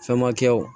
Fɛnmakɛw